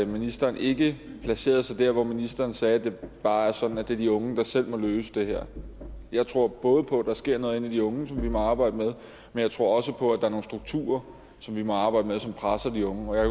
ministeren ikke placerede sig der hvor ministeren sagde at det bare er sådan at det er de unge der selv må løse det her jeg tror både på at der sker noget inde i de unge som vi må arbejde med men jeg tror også på at der er nogle strukturer som vi må arbejde med og som presser de unge og jeg